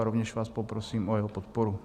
A rovněž vás poprosím o jeho podporu.